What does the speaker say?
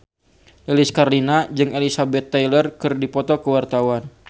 Lilis Karlina jeung Elizabeth Taylor keur dipoto ku wartawan